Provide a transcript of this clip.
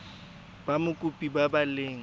ba mokopi ba ba leng